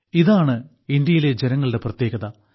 ഇതാണ് ഇന്ത്യയിലെ ജനങ്ങളുടെ പ്രത്യേകത